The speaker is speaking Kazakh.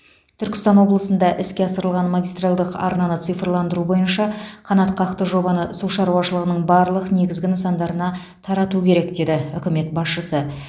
түркістан облысында іске асырылған магистральдық арнаны цифрландыру бойынша қанатқақты жобаны су шаруашылығының барлық негізгі нысандарына тарату керек деді үкімет басшысы